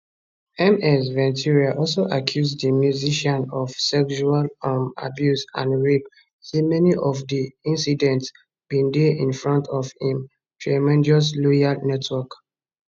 ms ventura also accuse di musician of sexual um abuse and rape say many of dis incidents bin dey in fromt of im tremendous loyal network